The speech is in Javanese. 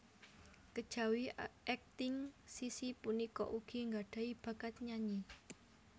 Kejawi akting Sissy punika ugi nggadhahi bakat nyanyi